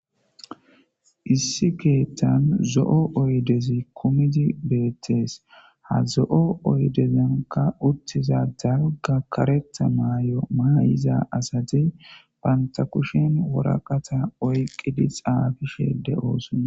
Issi keeththan zo'o oydezi kumidzi beettes ha zo'o oydezankka uttiza dalgga karetha mayo mayiza asati banta kushen woraqata oyqidi xaafishe de'osona.